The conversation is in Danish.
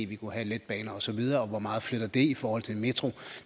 vi kunne have letbaner osv og hvor meget flytter det i forhold til en metro